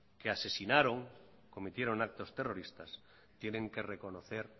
que asesinaron y cometieron actos terroristas tienen que reconocer